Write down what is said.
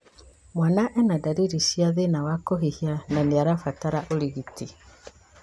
Mwana ena ndariri cia thĩna wa kũhihia na nĩarabatara ũrigiti